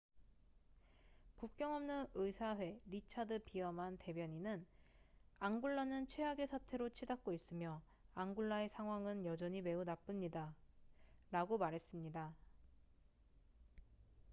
"국경 없는 의사회 리차드 비어만richard veerman 대변인은 "앙골라는 최악의 사태로 치닫고 있으며 앙골라의 상황은 여전히 매우 나쁩니다""라고 말했습니다.